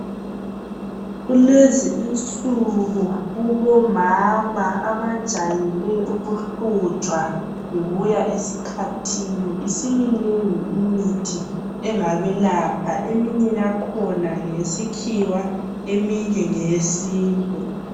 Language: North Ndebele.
kulezi insuku kubo mama abajayele ukuhlutshwa yikuya esikhathini isiminengi imithi engabelapha eminye yakhona ngeyesikhiwa eminye nge yesintu